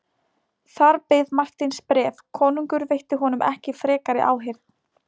Þar beið Marteins bréf, konungur veitti honum ekki frekari áheyrn.